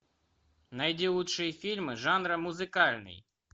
найди лучшие фильмы жанра музыкальный